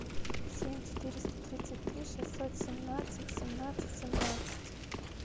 семь четыреста тридцать три шестьсот семнадцать семнадцать семнадцать